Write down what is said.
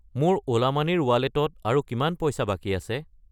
মোৰ Ola money ৰ ৱালেটত আৰু কিমান পইচা বাকী আছে?